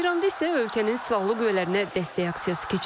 Tehranda isə ölkənin silahlı qüvvələrinə dəstək aksiyası keçirilib.